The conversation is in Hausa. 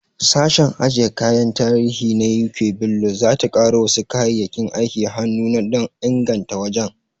Sashen ajiye kayan tarihi na U.K Bello, za ta ƙaro wasu kayayyakin aikin hannu na da dan inganta wajen.